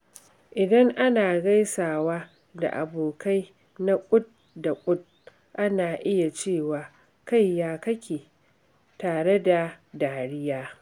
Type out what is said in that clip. Idan ana gaisawa da abokai na kud da kud, ana iya cewa "Kai ya kake?" tare da dariya.